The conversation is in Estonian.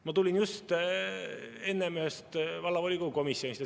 Ma tulin just ühest vallavolikogu komisjonist.